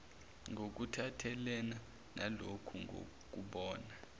ngokuphathelene naloku ngokubona